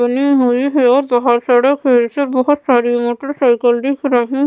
बनी हुई है और बाहर सड़क है इससे बहुत सारी मोटरसाइकिल दिख रही --